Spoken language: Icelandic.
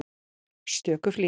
stöku flík.